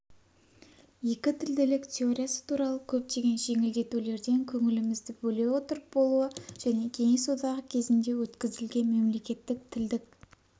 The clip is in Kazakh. екітілділік теориясы туралы көптеген жеңілдетулерден көңілімізді бөле отырып болуы және кеңес одағы кезінде өткізілген мемлекеттік тілдік